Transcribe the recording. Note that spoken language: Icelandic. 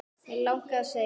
Mig langaði að segja